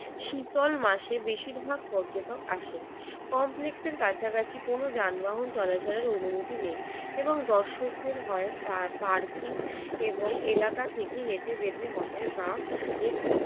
শীতল মাসের বেশিরভাগ পর্যটক আসেন। কমপ্লেক্সের কাছাকাছি কোন যানবাহন চলাচলের অনুমতি নেই এবং দর্শকদের হয় কার পার্কিং এবং এলাকা থেকে হেঁটে যেতে হবে বা এটি